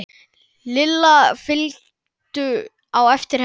Lilla fylgdu á eftir henni.